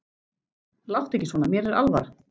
Láttu ekki svona, mér er alvara.